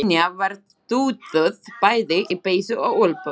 Linja var dúðuð bæði í peysu og úlpu.